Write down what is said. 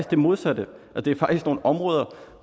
det modsatte det er faktisk nogle områder